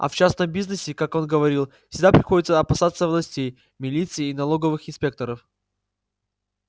а в частном бизнесе как он говорил всегда приходится опасаться властей милиции и налоговых инспекторов